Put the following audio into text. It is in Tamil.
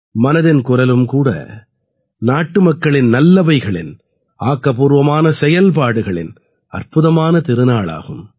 மனதின் குரலும் கூட நாட்டுமக்களின் நல்லவைகளின் ஆக்கப்பூர்வமான செயல்பாடுகளின் அற்புதமான திருநாளாகும்